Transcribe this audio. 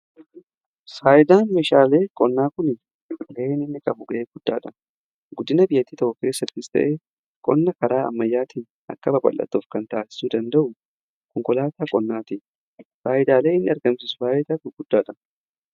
Faayidaan meeshaalee qonnaa kun ga'een inni qabu ga'ee guddaadha .Guddina biyyatii takko keessa qonna karaa ammayyaatiin akka babalatuuf kan taasisuu danda'u. Konkolaataa qonnaati faayidaalee inni argamsisu faayidaa guguddaadha.